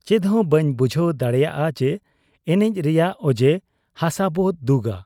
ᱪᱮᱫᱦᱚᱸ ᱵᱟᱹᱧ ᱵᱩᱡᱷᱟᱹᱣ ᱫᱟᱲᱮᱭᱟᱫ ᱟ ᱮᱱᱮᱡ ᱨᱮᱭᱟᱝ ᱚᱡᱮ ᱾ ᱦᱟᱥᱟᱵᱚ ᱫᱩᱜᱟ ᱾